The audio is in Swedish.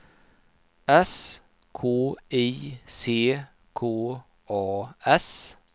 S K I C K A S